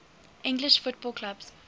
english football clubs